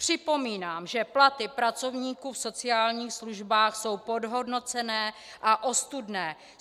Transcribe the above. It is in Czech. Připomínám, že platy pracovníků v sociálních službách jsou podhodnocené a ostudné.